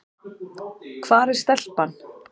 Hvar er stelpan?